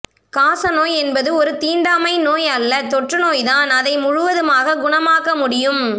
காசநோய் என்பது ஒன்று தீண்டாமை நோய் அல்ல தொற்று நோய்தான் இதை முழுவதுமாக குணமாக்க முடியும்